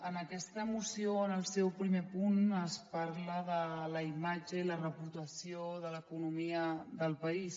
en aquesta moció en el seu primer punt es parla de la imatge i la reputació de l’economia del país